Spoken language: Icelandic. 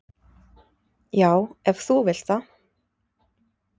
"""Já, ef þú vilt það."""